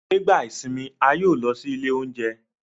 Nigba isinmi, a yoo lọ si ile ounjẹ